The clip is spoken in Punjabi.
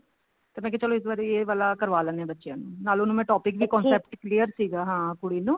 ਤੇ ਮੈਂ ਕਿਹਾ ਇਸ ਵਾਰੀ ਇਹ ਵਾਲਾ ਕਰਵਾ ਲੈਂਦੇ ਹਾਂ ਬੱਚਿਆਂ ਨੂੰ ਨਾਲ ਉਹਨੂੰ ਮੈਂ topic ਵੀ concept clear ਸੀਗਾ ਕੁੜੀ ਨੂੰ